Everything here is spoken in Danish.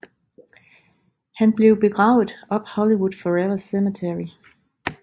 Han blev begravet op Hollywood Forever Cemetery